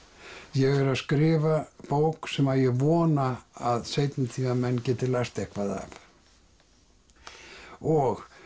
ég er að skrifa bók sem ég er vona að seinni tíma menn geti lært eitthvað af og